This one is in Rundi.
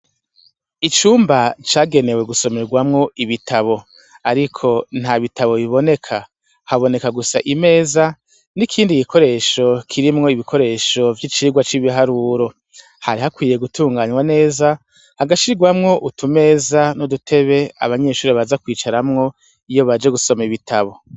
Icumba cagenewe gusomegwamwo ibitabo ariko nta bitabo biboneka haboneka gusa imeza n' ikindi gikoresho kirimwo ibikoresho vy' ibiharuro hari hakwiye gutunganwa neza hagashigwamwo utumeza n' udutebe abanyeshure baza kwicaramwo iyo baje gusoma ibitabo.